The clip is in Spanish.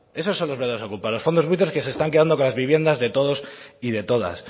esos son los verdaderos okupas los fondos buitres que se están quedando con la viviendas de todos y de todas